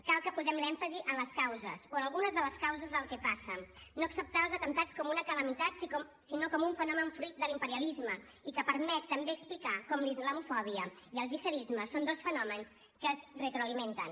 cal que posem l’èmfasi en les causes o en algunes de les causes del que passa no acceptar els atemptats com una calamitat sinó com un fenomen fruit de l’imperialisme i que permet també explicar com la islamofòbia i el gihadisme són dos fenòmens que es retroalimenten